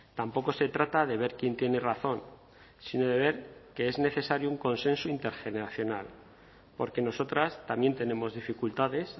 tampoco se trata de ver quién tiene razón sino de ver que es necesario un consenso intergeneracional porque nosotras también tenemos dificultades